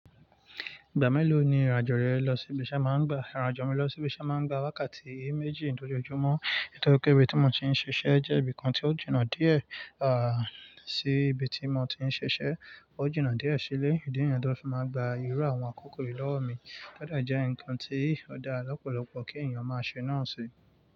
Ìgbà mélòó ni ìrìn àjò rẹ lọ sí ibi iṣẹ́ máa ń gba? Ìrìn àjò mi lọ sí ibi iṣẹ́ máa ń gba wákàtí méjì lójoojúmọ́. Nítorí pé ibi tí mo ti ń ṣiṣẹ́ jẹ́ ibìkan tí ó jìnà díẹ̀, à, sí ibi tí mo ti ń ṣiṣẹ́. Ó jìnà díẹ̀ sílé, idi niyií tó fi máa gba ìrú àwọn àkókò yìí lọ́wọ́ mi. Ó de jẹ́ ǹkan tí ó dá lọ́pọ̀lọpọ̀ kí ènìyàn máa ṣe náà ṣe.